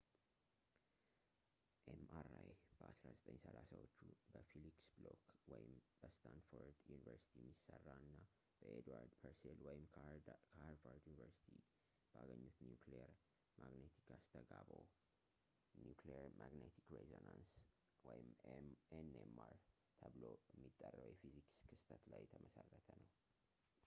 ኤምአርአይ በ 1930ዎቹ በፊሊክስ ብሎክ በስታንፎርድ ዩኒቨርስቲ የሚሰራ እና ኤድዋርድ ፐርሴል ከሃርቫርድ ዩኒቨርሲቲ ባገኙት ኒኩሊየር ማግነቲክ አስተጋብኦ nuclear magnetic resonance nmr ተብሎ የሚጠራው የፊዚክስ ክስተት ላይ የተመሠረተ ነው